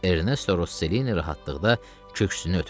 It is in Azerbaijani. Ernesto Rosselini rahatlıqda köksünü ötürdü.